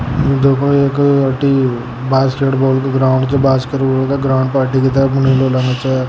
देखो एक अट्टी बास्केटबाल को ग्राउंड छ बास्केटबॉल क अट्टी की तरफ छ।